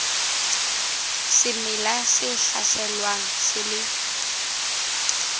semela se hlaselwang se le